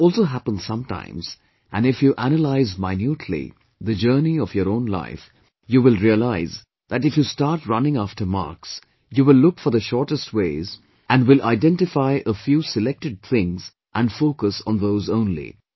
But this also happens sometimes and if you analyse minutely the journey of your own life, you will realise that if you start running after marks, you will look for the shortest ways, and will identify a few selected things and focus on those only